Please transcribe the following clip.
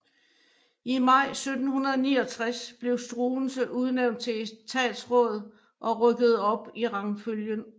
I maj 1769 blev Struensee udnævnt til etatsråd og rykkede op i rangfølgen